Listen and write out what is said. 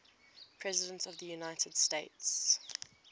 presidents of the united states